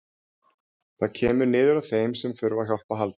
Það kemur niður á þeim sem þurfa á hjálp að halda.